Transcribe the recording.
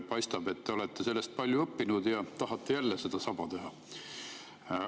Paistab, et te olete sellest palju õppinud ja tahate jälle sedasama teha.